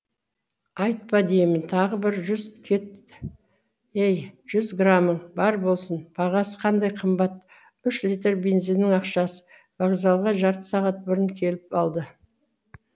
айтпа деймін тағы бір жүз кет ей жүз грамың бар болсын бағасы қандай қымбат үш литр бензиннің ақшасы вокзалға жарты сағат бұрын келіп алды